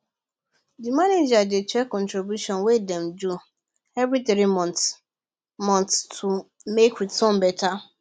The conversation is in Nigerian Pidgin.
the manager dey check contribution wey dem do every three months months to make return better